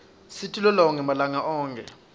luibzingeka siti lolonge malanga onkhe